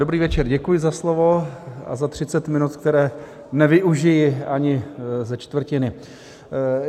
Dobrý večer, děkuji za slovo a za 30 minut, které nevyužiji ani ze čtvrtiny.